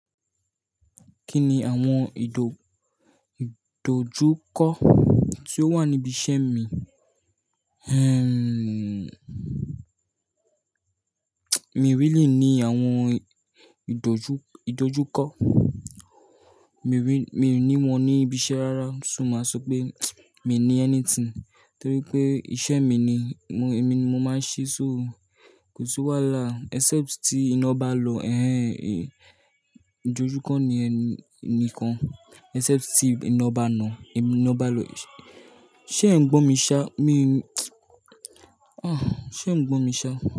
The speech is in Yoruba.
Kí ni àwọn ìdo-ìdojúkọ tí ó wà níbi iṣẹ́ mi? Ehn, mi really ní àwọn ìdojú-ìdojúkọ. Mi wí, mi ò ní wọn ní ibi iṣẹ́ rárá. So máa sọ pé mi ní anything, torí pé iṣẹ́ mi ni, mo, èmi ni mo máa ń ṣe, so kò sí wàhálà except tí iná bá lọ. Ehn, ìdojúkọ ni ẹni nìkan except tí iná bá lọ, iná bá lọ. Ṣé ẹ̀ n gbọ́ mi ṣá? Mi, ah, ṣé ẹ̀ n gbọ́ mi ṣá?